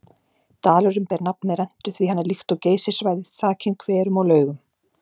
Dalurinn ber nafn með rentu því hann er líkt og Geysissvæðið þakinn hverum og laugum.